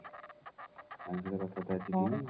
ରାଣୀ ସହିତ କଥା ବାର୍ତା ଅଛି ଟି?